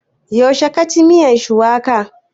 Yaushe ka ci miyan shuwaka?